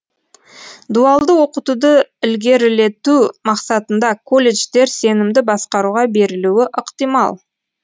дуалды оқытуды ілгерілету мақсатында колледждер сенімді басқаруға берілуі ықтимал